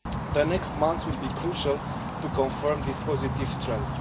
The next months will be crucial to confirming this positive trend.